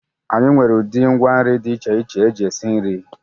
Anyị nwere udiri ngwa nri dị iche iche eji esi nri.